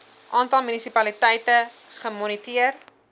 aantal munisipaliteite gemoniteer